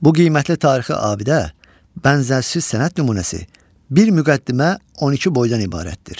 Bu qiymətli tarixi abidə, bənzərsiz sənət nümunəsi, bir müqəddimə, 12 boydan ibarətdir.